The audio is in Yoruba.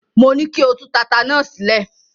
Mo ní kí o tú tata náà sílẹ̀.